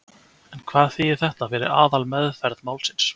En hvað þýðir þetta fyrir aðalmeðferð málsins?